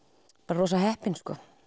rosa heppin